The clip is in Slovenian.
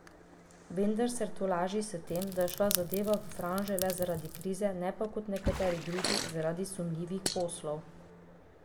Vendar se tolaži s tem, da je šla zadeva v franže le zaradi krize, ne pa, kot nekateri drugi, zaradi sumljivih poslov.